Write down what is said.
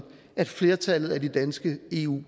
at flertallet af de danske eu